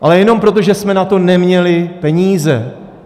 Ale jenom proto, že jsme na to neměli peníze.